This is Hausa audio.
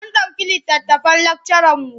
Mun ɗauki littattafan lakcaranmu.